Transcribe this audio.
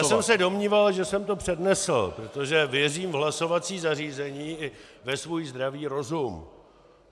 Já jsem se domníval, že jsem to přednesl, protože věřím v hlasovací zařízení i ve svůj zdravý rozum.